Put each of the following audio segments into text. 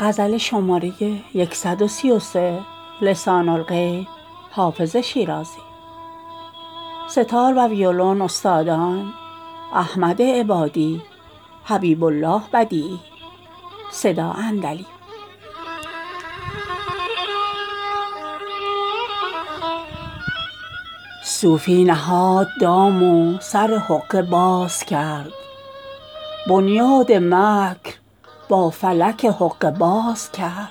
صوفی نهاد دام و سر حقه باز کرد بنیاد مکر با فلک حقه باز کرد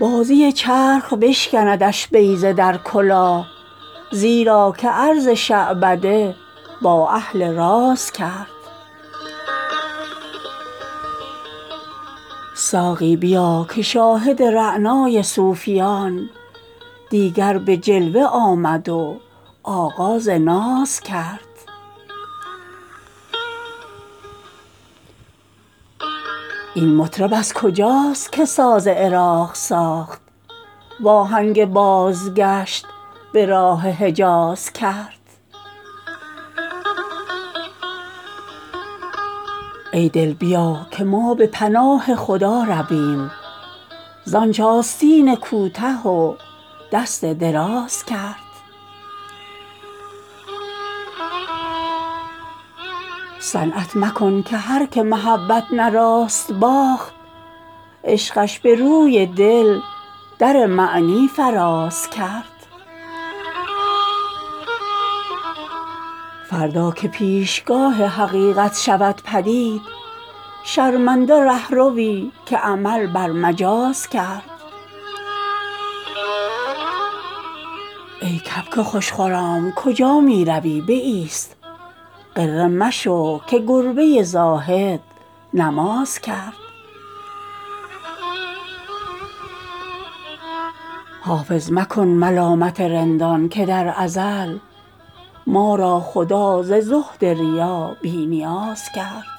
بازی چرخ بشکندش بیضه در کلاه زیرا که عرض شعبده با اهل راز کرد ساقی بیا که شاهد رعنای صوفیان دیگر به جلوه آمد و آغاز ناز کرد این مطرب از کجاست که ساز عراق ساخت وآهنگ بازگشت به راه حجاز کرد ای دل بیا که ما به پناه خدا رویم زآنچ آستین کوته و دست دراز کرد صنعت مکن که هرکه محبت نه راست باخت عشقش به روی دل در معنی فراز کرد فردا که پیشگاه حقیقت شود پدید شرمنده رهروی که عمل بر مجاز کرد ای کبک خوش خرام کجا می روی بایست غره مشو که گربه زاهد نماز کرد حافظ مکن ملامت رندان که در ازل ما را خدا ز زهد ریا بی نیاز کرد